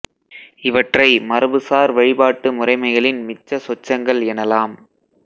இவற்றை மரபு சார் வழிபாட்டு முறைமைகளின் மிச்ச சொச்சங்கள் எனலாம்